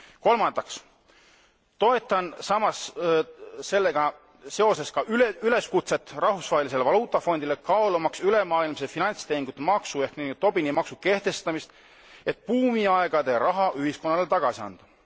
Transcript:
Kolmandaks toetan samas sellega seoses ka üleskutset Rahvusvahelisele Valuutafondile kaalumaks ülemaailmse finantstehingute maksu ehk nn Tobini maksu kehtestamist, et buumiaegade raha ühiskonnale tagasi anda.